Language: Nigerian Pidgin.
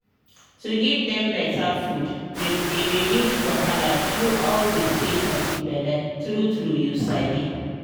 to give dem better food dey reduce wahala through all the stage of the bele true true you sabi